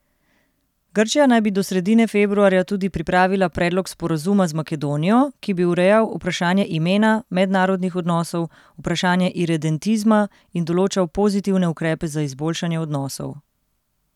Grčija naj bi do sredine februarja tudi pripravila predlog sporazuma z Makedonijo, ki bi urejal vprašanje imena, mednarodnih odnosov, vprašanje iredentizma in določal pozitivne ukrepe za izboljšanje odnosov.